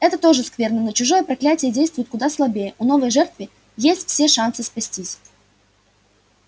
это тоже скверно но чужое проклятие действует куда слабее у новой жертвы есть все шансы спастись